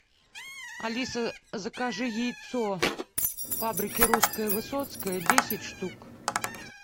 алиса закажи яйцо фабрики русская высоцкая десять штук